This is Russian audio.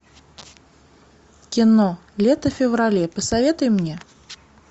кино лето в феврале посоветуй мне